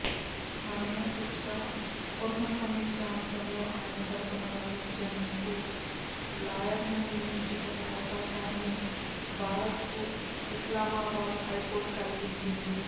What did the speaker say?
మరణ శిక్ష పునఃసమీక్ష అంశంలో ఆయన తరపున వాదించేందుకు లాయర్ను నియమించుకునే అవకాశాన్ని భారత్కు ఇస్లామాబాద్ హైకోర్టు కల్పించింది